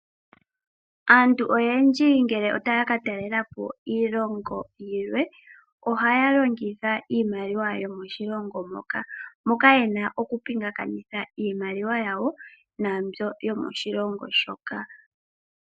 Aantu oyendji ngele taya katalelapo iilongo yilwe ohaya longitha iimaliwa yomoshilongo moka yena okupingakanitha iimaliwa yawo yomoshilongo moka.